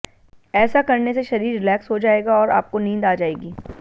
ऐसा करने से शरीर रिलेक्स हो जगा और आपको नींद आ जाएगी